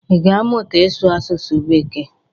Ị ga-amụta ịsụ asụsụ bekee?